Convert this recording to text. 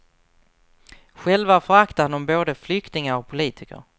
Själva föraktar de både flyktingar och politiker.